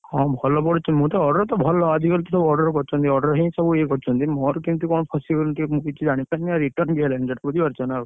ହଁ ଭଲ ପଡୁଛି। ମୁଁ ତ order ତ ଭଲ। ଆଜିକାଲି ସବୁ order କରୁଛନ୍ତି। order ହିଁ ସବୁ ଇଏ କରିଛନ୍ତି। ମୋର କେମିତି କଣ ଫସିଗଲି ଟିକେ ମୁଁ କିଛି ଜାଣିପାଇଲିନି return ବି ହେଲାନି ଅଚାନକ।